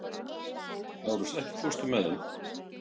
Lárus, ekki fórstu með þeim?